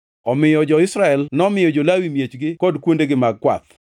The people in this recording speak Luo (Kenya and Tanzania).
Omiyo jo-Israel nomiyo jo-Lawi miechgi kod kuondegi mag kwath.